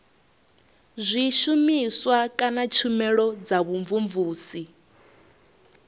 zwishumiswa kana tshumelo dza vhumvumvusi